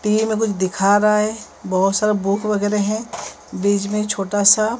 TV में कुछ दिखा रहा है बहुत सारा बुक वगैरह है बीच में छोटा सा--